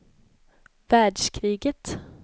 världskriget